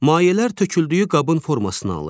Mayələr töküldüyü qabın formasını alır.